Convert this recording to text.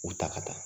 U ta ka taa